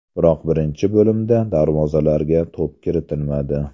Biroq birinchi bo‘limda darvozalarga to‘p kiritilmadi.